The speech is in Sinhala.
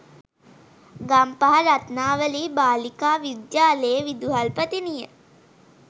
ගම්පහ රත්නාවලී බාලිකා විද්‍යාලයේ විදුහල්පතිනිය